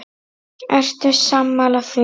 Ertu sammála því?